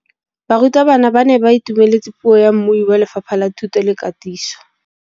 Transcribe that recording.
Barutabana ba ne ba itumeletse puô ya mmui wa Lefapha la Thuto le Katiso.